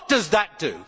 What does that do?